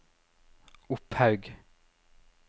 Opphaug